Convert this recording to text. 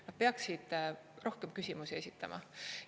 Nad peaksid rohkem küsimusi esitama.